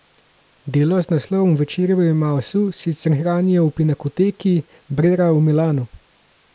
Delo z naslovom Večerja v Emavsu sicer hranijo v Pinakoteki Brera v Milanu.